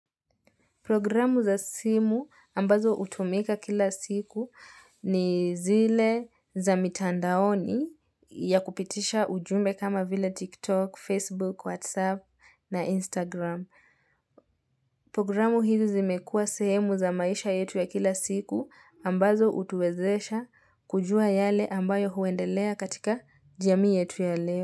Programu za simu ambazo hutumika kila siku ni zile za mitandaoni ya kupitisha ujumbe kama vila TikTok, Facebook, WhatsApp na Instagram. Programu hizi zimekuwa sehemu za maisha yetu ya kila siku ambazo hutuwezesha kujua yale ambayo huendelea katika jamii yetu ya leo.